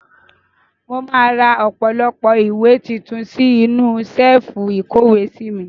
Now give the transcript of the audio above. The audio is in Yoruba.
Mo máa ra ọ̀pọ̀lọpọ̀ ìwé tuntun sí inú ṣẹ́ẹ́fù ìkówèé sí mi.